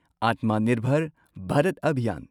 ꯑꯠꯃ ꯅꯤꯔꯚꯔ ꯚꯥꯔꯠ ꯑꯚꯤꯌꯥꯟ